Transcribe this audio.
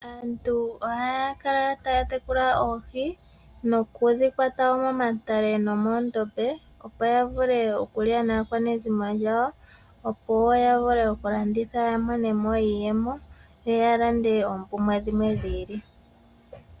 Aantu ohaya kala taya tekula oohi noku dhi kwata wo momatale nomoondombe opo ya vule okulya naakwanezimo lyawo opo wo ya vule okulanditha ya mone mo iiyemo, yo ya lande oompumbwe dhimwe dhi ili.